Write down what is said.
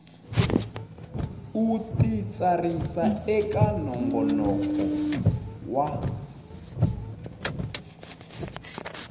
u titsarisa eka nongonoko wa